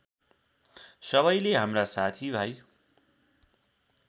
सबैले हाम्रा साथीभाइ